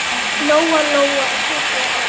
Lóa-Lóa titraði öll.